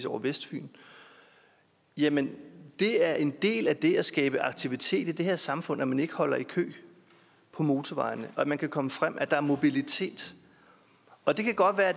over vestfyn jamen det er en del af det at skabe aktivitet i det her samfund at man ikke holder i kø motorvejene og at man kan komme frem at der er mobilitet og det kan